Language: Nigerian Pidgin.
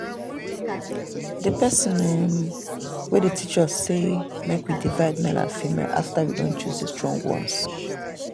the person um wey dey teach us say make we divide male and female after we don choose the strong ones.